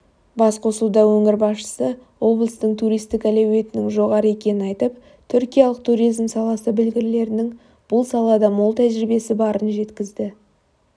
басқосуда өңір басшысы облыстың туристік әлеуетінің жоғары екенін айтып түркиялық туризм саласы білгірлерінің бұл салада мол тәжірибесі барын жеткізді